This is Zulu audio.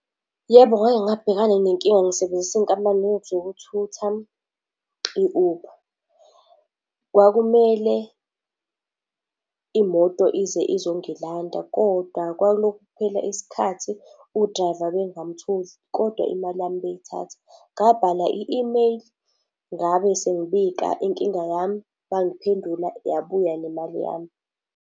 Yebo, ngake ngabhekana nenkinga ngisebenzisa inkampani yezokuthutha, i-Uber. Kwakumele imoto ize izongilanda, kodwa kwakulokhu kuphela isikhathi u-driver bengamutholi, kodwa imali yami beyithatha. Ngabhala i-email, ngabe sengibika inkinga yami, bangiphendula, yabuya nemali yami.